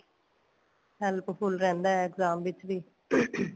help full ਰਹਿੰਦਾ exam ਵਿੱਚ ਵੀ